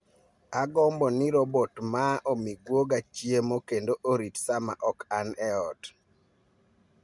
Agombo ni robot maa omi guoga chiemo kendo orit sama ok an ot